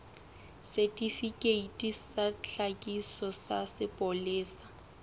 setifikeiti sa tlhakiso sa sepolesa